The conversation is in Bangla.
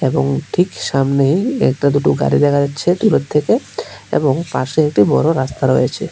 এবং ঠিক সামনেই একটা দুটো গাড়ি দেখা যাচ্ছে দূরের থেকে এবং পাশে একটি বড়ো রাস্তা রয়েছে।